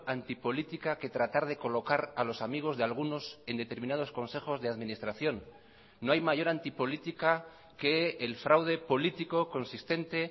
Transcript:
antipolítica que tratar de colocar a los amigos de algunos en determinados consejos de administración no hay mayor antipolítica que el fraude político consistente